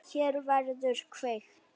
Hér verður kveikt.